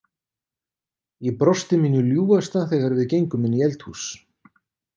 Ég brosti mínu ljúfasta þegar við gengum inn í eldhús.